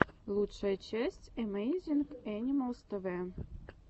лучшая часть эмэйзинг энималс тэвэ